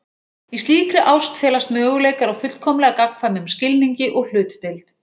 Í slíkri ást felast möguleikar á fullkomlega gagnkvæmum skilningi og hlutdeild.